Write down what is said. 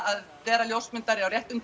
að vera ljósmyndari á réttum